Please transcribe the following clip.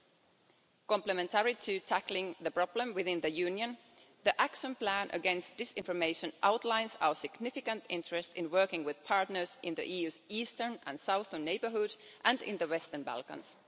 Alongside tackling the problem within the Union, the Action Plan Against Disinformation outlines our significant interest in working with partners in the EU's eastern and southern neighbourhood and in the Western Balkans.